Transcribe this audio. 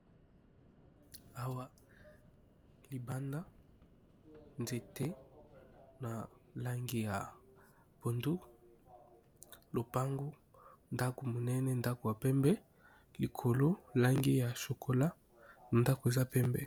awa libanda nzete na langi ya bandu lopango ndako monene ndako ya pembe likolo langi ya sokola na ndako eza pembe